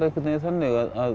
þannig að